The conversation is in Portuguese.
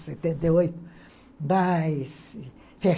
setenta e mas...